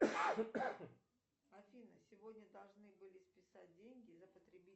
афина сегодня должны были списать деньги за потребительский